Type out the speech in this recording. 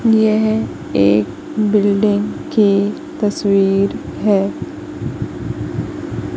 येहं एक बिल्डिंग की तस्वीर हैं।